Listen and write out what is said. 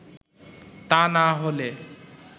তা না হলে